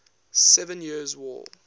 seven years war